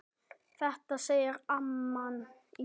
Þetta segir amman í